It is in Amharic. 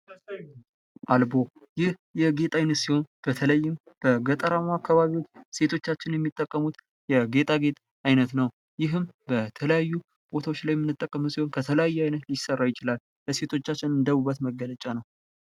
አልቦ ይህ የጌጥ አይነት ሲሆን በተለይም በገጠራማዉ አካባቢዎች ሴቶቻችን የሚጠቀሙት የጌጣጌጥ አይነት ነዉ። ይህም በተለያዩ ቦታዎች ላይ የምንጠቀም ሲሆን ከተለያየ አይነት ሊሰራ ይችላል። ለሴቶቻችን እንደ ዉበት መገለጫ ነዉ።